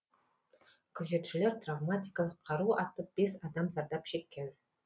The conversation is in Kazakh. күзетшілер травматикалық қару атып бес адам зардап шеккен